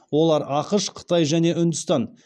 олар ақш қытай және үндістан